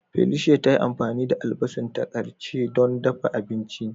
Felicia ta yi amfani da albasanta karce don ɗafa abinchi.